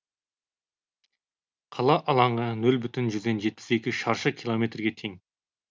қала алаңы нөл бүтін жүзден жетпіс екі шаршы километрге тең